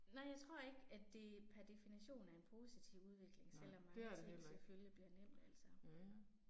Nej jeg tror ikke at det per definition er en positiv udvikling selvom mange ting selvfølgelig bliver nemt altså